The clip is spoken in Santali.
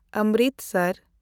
ᱚᱢᱨᱤᱛᱥᱚᱨ